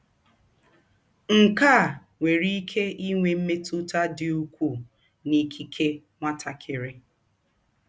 Nke a nwere ike inwe mmetụta dị ukwuu n'ikike nwatakịrị.